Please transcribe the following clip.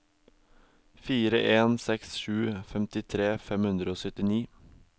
fire en seks sju femtitre fem hundre og syttini